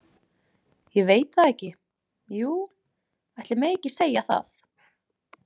Ég veit það ekki, jú, ætli megi ekki segja það